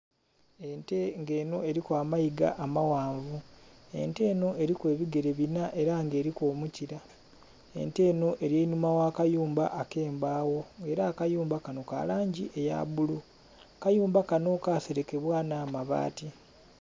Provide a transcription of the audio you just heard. Ente nga enho eriku amaiga amaghanvu, ente enho eriku ebigere binha era nga eriku omukira, ente enho erinhuma ghakayumba ekembagho nga era akayumba kanho kalangi eyabbulu, akayumba kanho kaserekebwa nhabaati.